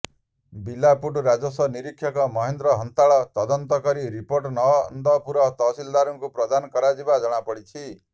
ବିଲା ପୁଟ ରାଜସ୍ୱ ନିରକ୍ଷକ ମହେନ୍ଦ୍ର ହାନ୍ତାଳ ତଦନ୍ତ କରି ରିପୋର୍ଟ ନନ୍ଦପୁର ତହସିଲଦାରଙ୍କୁ ପ୍ରଦାନ କରିଥିବା ଜଣାପଡ଼ିଛି